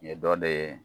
Ye dɔ de ye